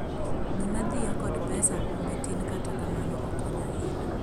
gima dhiyo kod pesa humbe tin kata kamano okonyo ahinya